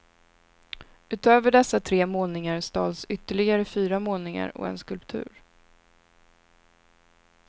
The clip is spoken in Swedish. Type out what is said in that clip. Utöver dessa tre målningar stals ytterligare fyra målningar och en skulptur.